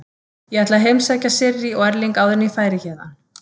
Ég ætlaði að heimsækja Sirrý og Erling áður en ég færi héðan.